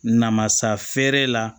Namasa feere la